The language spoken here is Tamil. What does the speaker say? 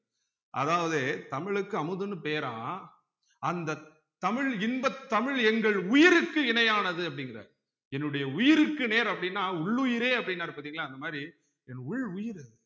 அதாவது தமிழ்க்கு அமுதுன்னு பேராம் அந்த தமிழ் இன்ப தமிழ் எங்கள் உயிருக்கு இணையானது அப்படிங்கிறார் என்னுடைய உயிருக்கு நேர் அப்படின்னா உள் உயிரே அப்படின்னாரு பார்த்தீங்களா அந்த மாதிரி என் உள் உயிர் அது